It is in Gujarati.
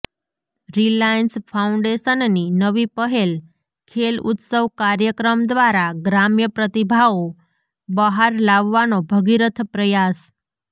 રીલાયન્સ ફાઉન્ડેશનની નવી પહેલ ખેલ ઉત્સવ કાર્યક્રમ દ્વારા ગ્રામ્ય પ્રતિભાઑ બહાર લાવવાનો ભગીરથ પ્રયાસ